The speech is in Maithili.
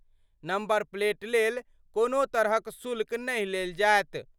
नम्बर प्लेट लेल कोनो तरहक शुल्क नहि लेल जायत।